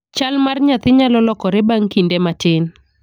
Chal mar nyathi nyalo lokore bang' kinde matin.